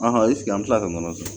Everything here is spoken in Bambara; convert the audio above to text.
an mi kila ka nɔnɔ san